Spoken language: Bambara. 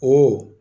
Ɔ